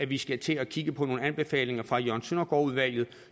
vi skal til at kigge på nogle anbefalinger fra jørgen søndergaard udvalget